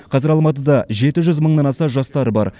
қазір алматыда жеті жүз мыңнан аса жастар бар